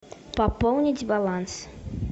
пополнить баланс